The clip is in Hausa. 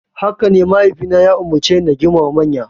Hakane, mahaifina ya umarceni na girmama manya.